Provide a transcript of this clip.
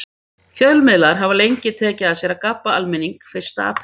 Fjölmiðlar hafa lengi tekið að sér að gabba almenning fyrsta apríl.